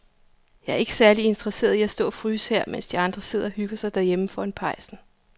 Jeg er ikke særlig interesseret i at stå og fryse her, mens de andre sidder og hygger sig derhjemme foran pejsen.